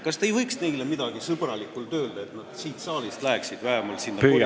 Kas te ei võiks neile kuidagi sõbralikult öelda, et nad läheksid vähemalt koridori?